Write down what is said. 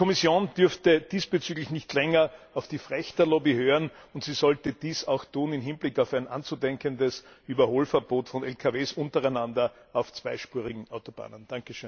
Die Kommission dürfte diesbezüglich nicht länger auf die Frächterlobby hören, und sie sollte dies auch im Hinblick auf ein anzudenkendes Überholverbot von Lkw untereinander auf zweispurigen Autobahnen nicht